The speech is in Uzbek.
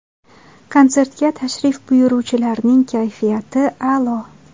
Konsertga tashrif buyuruvchilarning kayfiyati a’lo.